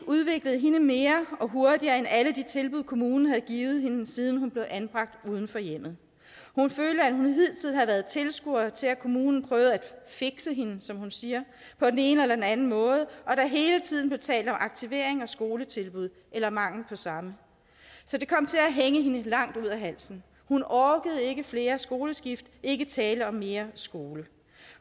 udviklede hende mere og hurtigere end alle de tilbud kommunen havde givet hende siden hun blev anbragt uden for hjemmet hun følte at hun hidtil havde været tilskuer til at kommunen prøvede at fikse hende som hun siger på den ene eller den anden måde og at der hele tiden blev talt om aktivering og skoletilbud eller mangel på samme så det kom til at hænge hende langt ud af halsen hun orkede ikke flere skoleskift ikke tale om mere skole